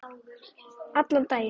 Allan daginn.